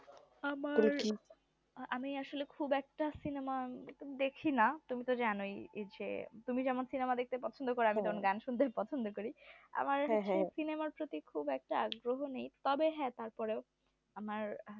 আমি আসলে খুব একটা সিনেমা দেখনা তুমি তো জানোই যে তুমি যেমন cinema দেখতে পছন্দ করো আমি তেমন গান শুনতে পছন্দ করি আমার হচ্ছে সিনেমার প্রতি আগ্রহ নেই তবে হ্যাঁ তারপরেও আমার